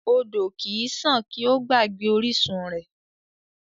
Odò kì í sàn kí ó gbàgbé orísun rẹ̀.